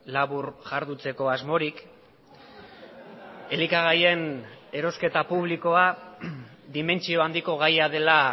labur jarduteko asmorik elikagaien erosketa publikoa dimentsio handiko gaia dela